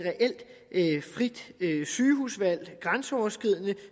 reelt frit sygehusvalg grænseoverskridende